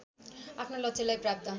आफ्नो लक्ष्यलाई प्राप्त